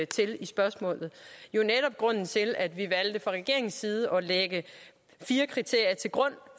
til i spørgsmålet jo netop grunden til at vi fra regeringens side valgte at lægge fire kriterier til grund